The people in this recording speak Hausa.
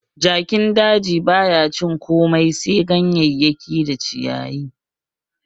Jakin daji baya cin wani abu sai ganyeyaki da ciyayi